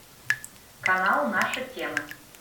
канал наша тема